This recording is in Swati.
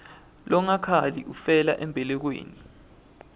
longakhali ufela embelekweni